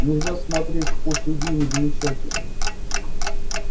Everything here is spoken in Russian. нельзя смотреть сквозь людей и не замечать их